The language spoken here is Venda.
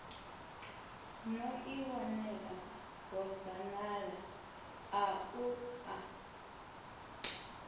no ḓiwanela bodzanḓala ḽaṋu a